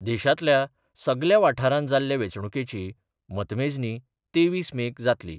देशांतल्या सगल्या वाठारांत जाल्ल्या वेंचणुकेची मतमेजणी तेवीस मेक जातली.